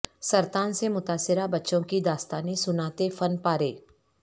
سرطان سے متاثرہ بچوں کی داستانیں سناتے فن پارے